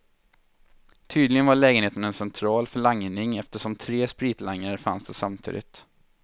Tydligen var lägenheten en central för langning eftersom tre spritlangare fanns där samtidigt.